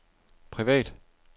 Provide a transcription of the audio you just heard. privat